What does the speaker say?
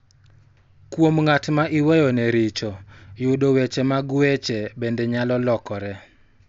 Kuom ng�at ma iweyone richo, yudo weche mag weche bende nyalo lokore.